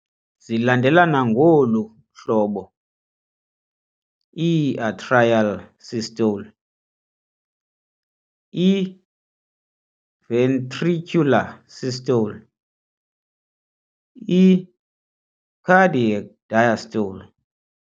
Zilandelelana ngolu hlobo- i-atrial systole → i-ventricular systole → i-cardiac diastole.